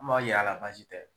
N m'aw yaala basi tɛ.